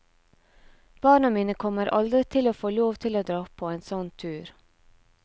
Barna mine kommer aldri til å få lov til å dra på en sånn tur.